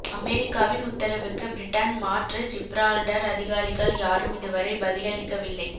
அமெரிக்காவின் உத்தரவுக்கு பிரிட்டன் மாற்று ஜிப்ரால்டர் அதிகாரிகள் யாரும் இதுவரை பதிலளிக்கவில்லை